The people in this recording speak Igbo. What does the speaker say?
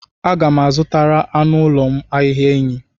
Aga m aga-azụtara anụ ụlọ m ahịhịa enyí.